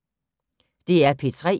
DR P3